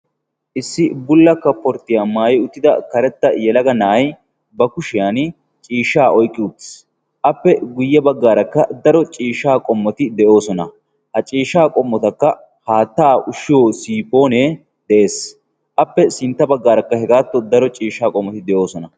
issi bulla kapporttiyaa maayi uttida karetta yelaga na'ay ba kushiyan ciishshaa oyqqi utis appe guyye baggaarakka daro ciishsha qommoti de'oosona ha ciishshaa qommotakka haattaa ushshiyo siipoonee de'ees appe sintta baggaarakka hegaattu daro ciishsha qommoti de'oosona